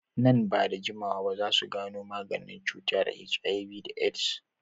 Nan ba da jimawa za su gano maganin cutar HIV da AIDS.